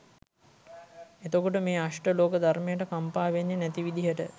එතකොට මේ අෂ්ඨ ලෝක ධර්මයට කම්පා වෙන්නෙ නැති විදිහට